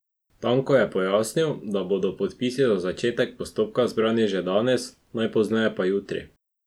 Tanko je pojasnil, da bodo podpisi za začetek postopka zbrani že danes, najpozneje pa jutri.